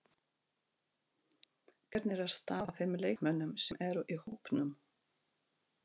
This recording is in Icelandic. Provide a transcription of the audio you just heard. Hvernig er staðan á þeim leikmönnum sem eru í hópnum?